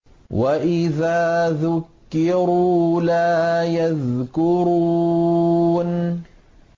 وَإِذَا ذُكِّرُوا لَا يَذْكُرُونَ